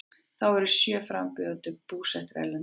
Þá eru sjö frambjóðendur búsettir erlendis